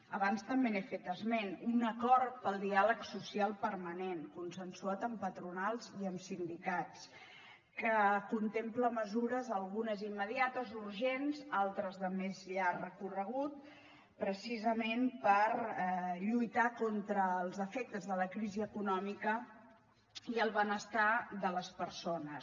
abans també n’he fet esment un acord pel diàleg social permanent consensuat amb patronals i amb sindicats que contempla mesures algunes immediates urgents altres de més llarg recorregut precisament per lluitar contra els efectes de la crisi econòmica i el benestar de les persones